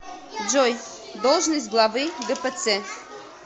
джой должность главы гпц